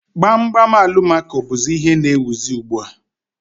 Gbam gbam Alụmaco bụzị ihe n'éwuzi ugbu a